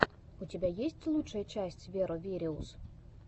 у тебя есть лучшая часть веро вериус